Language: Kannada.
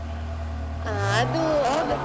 ಆ .